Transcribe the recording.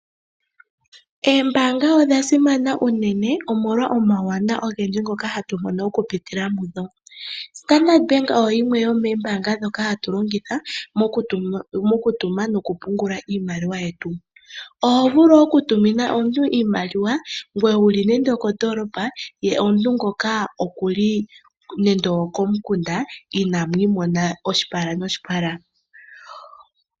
Oombanga odha simana unene molwa omawuwanawa ngoka hatu mono kupitila mudho. Standard Bank oyo yimwe yomoombanga ndhoka hatu longitha mokutuma nokupungula iimaliwa yetu. Ohovulu okulongitha ombanga ndjika okutuma iimaliwa wuli mondolopa to tumine omuntu eli komukunda inamwiimona oshipala noshipala.